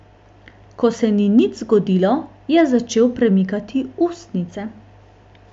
Ko se ni nič zgodilo, je začel premikati ustnice.